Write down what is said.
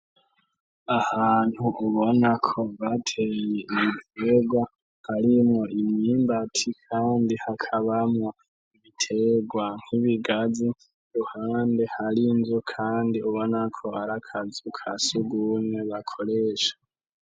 Ahantu ubona ko batenye ibiterwa arimwo imyimbati, kandi hakabamwo ibiterwa nk'ibigazi ruhande hari nzu, kandi ubonako arakazi uka sugumye bakoresha.